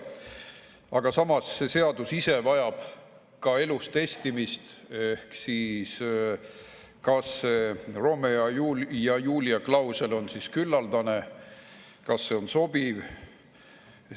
Aga samas see seadus ise vajab ka elus testimist, kas see Romeo ja Julia klausel on küllaldane, kas see on sobiv.